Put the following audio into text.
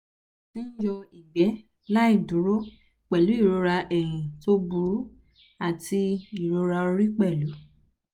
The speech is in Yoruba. mo ti ń yọ ìgbẹ́ láì dúró pẹ̀lú ìrora ẹ̀yìn tó burú àti ìrora orí pẹ̀lú